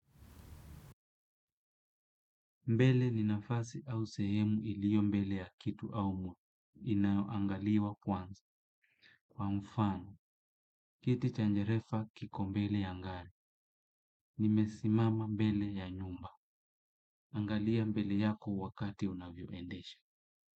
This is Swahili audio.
Mbele ni nafasi au sehemu iliyo mbele ya kitu au mtu. Inaangaliwa kwanza. Kwa mfano, kiti cha dereva kiko mbele ya gari. Nimesimama mbele ya nyumba. Angalia mbele yako wakati unavyoendesha.